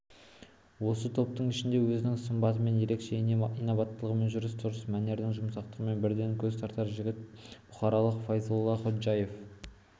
осы топтың ішінде өзінің сымбатымен ерекше инабаттылығымен жүріс-тұрыс мәнерінің жұмсақтығымен бірден көз тартар жігіт бұхаралық файзолла ходжаев